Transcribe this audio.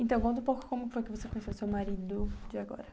Então, conta um pouco como foi que você conheceu o seu marido de agora.